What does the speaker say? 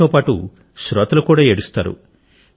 ఆయనతో పాటు శ్రోతలు కూడా ఏడుస్తారు